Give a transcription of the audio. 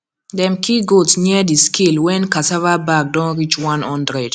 dem kill goat near the scale when cassava bag don reach one hundred